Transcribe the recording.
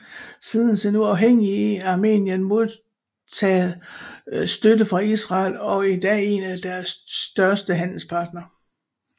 Siden sin uafhængighed har Armenien modtaget støtte fra Israel og er i dag en af deres største handelspartnere